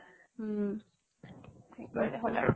উম হেৰি কৰিলে হল আৰু।